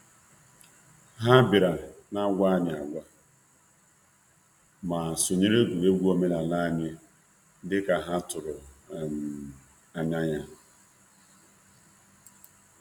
Ha rutere na-enweghị onye ha gwara, ma sonye anyị na um na um egwuregwu omenala dị ka ha kwadoro.